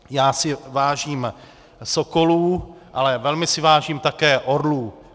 Já si vážím sokolů, ale velmi si vážím také orlů.